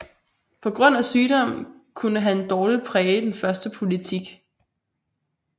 På grund af sygdom kunne han dårligt præge den førte politik